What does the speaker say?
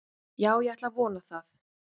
Já ég ætla að vona það.